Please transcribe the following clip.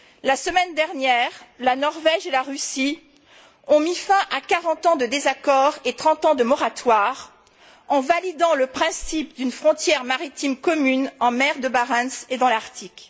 La semaine dernière, la Norvège et la Russie ont mis fin à quarante ans de désaccord et trente ans de moratoire en validant le principe d'une frontière maritime commune en mer de Barents et dans l'Arctique.